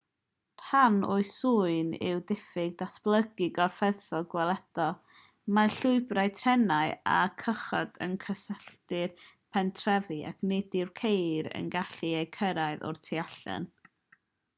rhan o'i swyn yw'r diffyg datblygu corfforaethol gweledol mae llwybrau trenau a chychod yn cysylltu'r pentrefi ac nid yw ceir yn gallu eu cyrraedd o'r tu allan